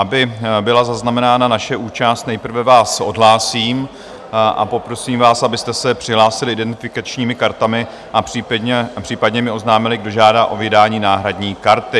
Aby byla zaznamenána naše účast, nejprve vás odhlásím a poprosím vás, abyste se přihlásili identifikačními kartami a případně mi oznámili, kdo žádá o vydání náhradní karty.